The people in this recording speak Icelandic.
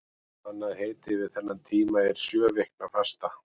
Annað heiti yfir þennan tíma er sjöviknafasta.